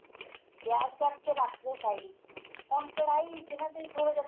ਪਿਆਜ ਕੱਟ ਕੇ ਰੱਖ ਦੋ side ਵਿੱਚ ਹੁਣ ਕੜਾਈ ਇਚ ਨਾ ਤੁਸੀਂ ਥੋੜਾ ਜਾ